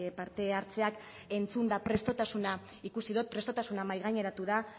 parte hartzeak entzunda prestutasuna ikusi dut prestutasuna mahaigaineratu da